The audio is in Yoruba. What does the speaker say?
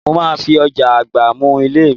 Mo máa fi ọ̀já àgbá mú ilé mi